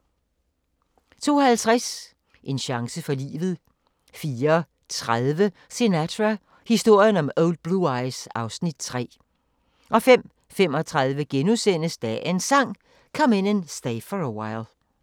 02:50: En chance for livet 04:30: Sinatra – historien om Old Blue Eyes (Afs. 3) 05:35: Dagens Sang: Come In And Stay For A While *